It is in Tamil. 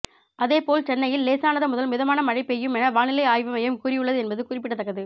அதேபோல் சென்னையில் லேசானது முதல் மிதமான மழை பெய்யும் என வானிலை ஆய்வு மையம் கூறியுள்ளது என்பது குறிப்பிடத்தக்கது